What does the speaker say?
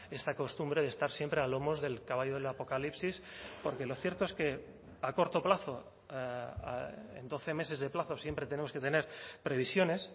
esta costumbre de estar siempre a lomos del caballo del apocalipsis porque lo cierto es que a corto plazo en doce meses de plazo siempre tenemos que tener previsiones